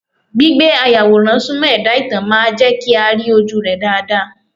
Gbígbé ayàwòrán Súmọ́ ẹ̀dá ìtàn máa jẹ́ kí a rí ojúu rẹ́ dáadáa.